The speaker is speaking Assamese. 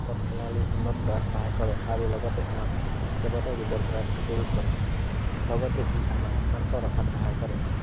প্ৰণালী উন্নত কৰাত সহায় কৰে আৰু লগতে আমাক, কেইবাটাও ৰোগৰ পৰা প্ৰতিৰোধ কৰে। লগতে ই আমাক শান্ত ৰখাত সহায় কৰে।